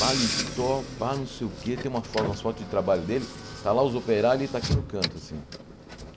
paletó, pá, não sei o quê, tem uma fo umas fotos de trabalho dele, está lá os operários e está aqui no canto, assim.